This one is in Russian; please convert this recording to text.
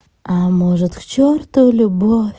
а может к чёрту любовь